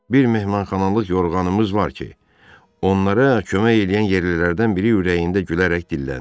Bir mehmanxanalıq yorğanımız var ki, onlara kömək eləyən yerlilərdən biri ürəyində gülərək dilləndi.